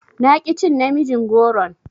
Na ƙi cin namijin goron.